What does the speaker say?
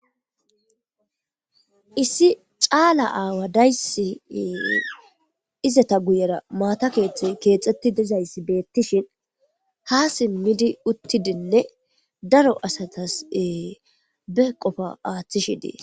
Issi caala awa dayissi izeta guyera mata keththeyi kexxetti dizayiss betishshinn haa simidinne uttidi daro asasi